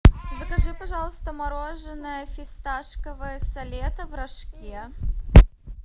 закажи пожалуйста мороженое фисташковое солетто в рожке